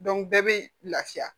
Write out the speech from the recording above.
bɛɛ bɛ lafiya